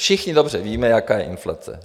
Všichni dobře víme, jaká je inflace.